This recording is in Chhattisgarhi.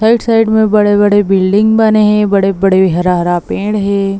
थर्ड साइड में बड़े बड़े बिल्डिंग बने हे बड़े बड़े हरा हरा पेड़ हे।